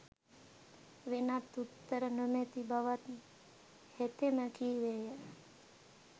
වෙනත් උත්තර නොමැති බවත් හෙතෙම කීවේය.